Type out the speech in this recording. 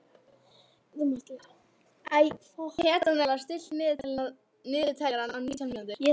Petrónella, stilltu niðurteljara á nítján mínútur.